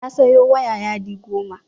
Ya sayo waya yadi goma